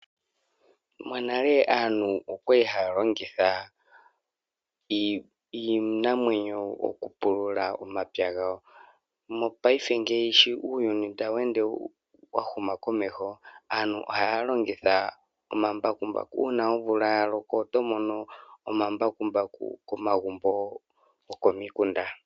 Monale aantu okwa li haya longitha iinamwenyo okupulula omapya gawo. Mopayife ngeyi uuyuni sho tawu ende wa huma komeho aantu ohaya longitha omambakumbaku. Uuna omvula ya loko oto mono omambakumbaku komagumbo gokomikunda.